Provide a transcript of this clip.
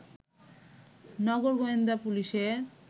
নগর গোয়েন্দা পুলিশের